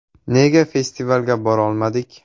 Nega festivalga borolmadik?